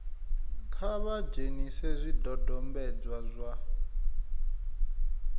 kha vha dzhenise zwidodombedzwa zwa